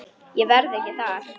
Ég verð ekki þar.